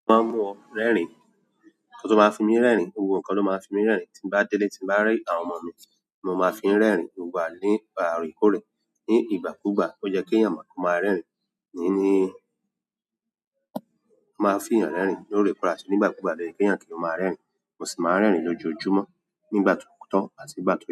Ki lo máa ń mú ọ rẹ́rìn-ín, nkan to máa fi mí rẹ́rìn-ín? Gbogbo nkan tó máa fi mí rẹ́rìn-ín tí ń bá délé tí ń bá rí àwọn ọmọ mi ni mo máa fi ń rẹ́rìn-ín. Ìgbà ni ìgbà orekoórè ní ìgbàkúgbà ó yẹ́ kí èèyàn máa rẹ̀ rẹ́rìn-ín níní, ó máa fi ìyàn rẹ́rìn-ín lóore kan àtì ní ìgbàkúgbà loye ki èèyàn kì o máa rẹ́rìn-ín. Mo sì máa ń rẹ́rìn-ín lójoojúmọ́ nígbà ti o to àti nígbà ti i ye.